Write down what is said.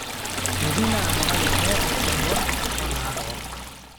meeti naado kake keetae naibor o naarook